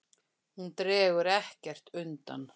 Hún dregur ekkert undan.